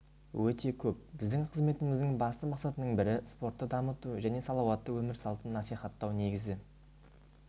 өте көп біздің қызметіміздің басты мақсатының бірі спортты дамыту және салауатты өмір салтын насихаттау негізі